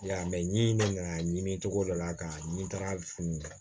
I y'a ye mɛ n'i nana ɲini cogo dɔ la ka ni taara funu